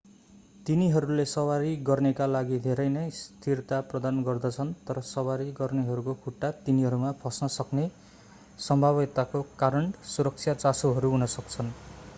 तिनीहरूले सवारी गर्नेको लागि धेरै नै स्थिरता प्रदान गर्दछन् तर सवारी गर्नेहरूको खुट्टा तिनीहरूमा फस्न सक्ने सम्भाव्यताको कारण सुरक्षा चासोहरू हुन सक्छन्